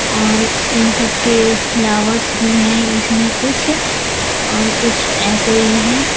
और इन सब के फ्लावर्स भी हैं इसमें कुछ और कुछ ऐसे ही हैं।